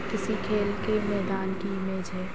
किसी खेल की मैदान की इमेज है।